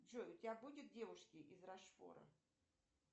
джой у тебя будет девушки из рошфора